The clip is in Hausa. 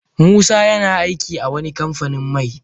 Musa yana aiki a wani kamfanin mai.